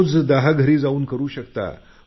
रोज दहा घरी जाऊन करू शकता